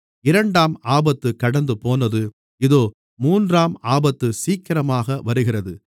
இரண்டாம் ஆபத்து கடந்துபோனது இதோ மூன்றாம் ஆபத்து சீக்கிரமாக வருகிறது